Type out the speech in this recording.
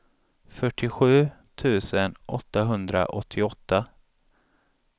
fyrtiosju tusen åttahundraåttioåtta